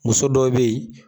Muso dɔw be yen